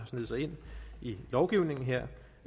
sneget sig ind i lovgivningen her